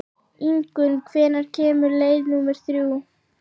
Ingunn, hvenær kemur leið númer þrjú?